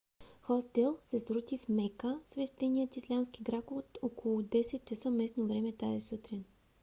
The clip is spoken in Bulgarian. хостел се срути в мека свещеният ислямски град около 10 часа местно време тази сутрин